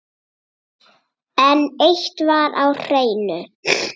En eitt var á hreinu.